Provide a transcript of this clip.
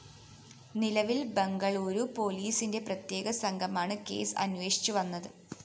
നിലവില്‍ ബംഗളൂരു പൊലീസിന്റെ പ്രത്യേക സംഘമാണ് കേസ് അന്വേഷിച്ചു വന്നത്